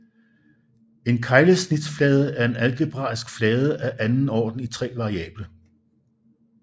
En keglesnitsflade er en algebraisk flade af anden orden i tre variable